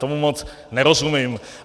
Tomu moc nerozumím.